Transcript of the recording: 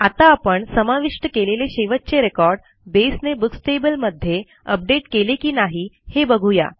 आत्ता आपण समाविष्ट केलेले शेवटचे रेकॉर्ड बेसने बुक्स टेबल मध्ये अपडेट केले की नाही हे बघू या